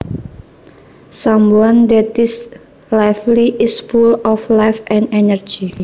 Someone that is lively is full of life and energy